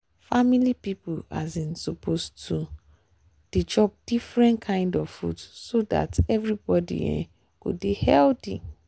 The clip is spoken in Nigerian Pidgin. family people um suppose to dey chop different kind of food so dat everybody um go dey healthy.